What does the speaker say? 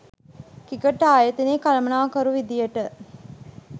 cricket ආයතනයේ කළමනාකරු විදියට